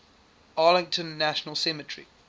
arlington national cemetery